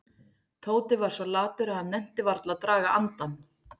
Tóti var svo latur að hann nennti varla að draga andann.